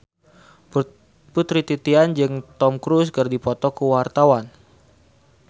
Putri Titian jeung Tom Cruise keur dipoto ku wartawan